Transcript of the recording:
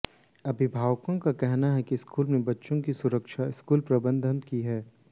अभिभावकों का कहना है कि स्कूल में बच्चों की सुरक्षा स्कूल प्रबंधन की है